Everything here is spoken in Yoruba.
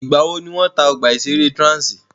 Ìgbà wò ni wọ́n tá ọgbà ìṣẹ̀rẹ́ Transi?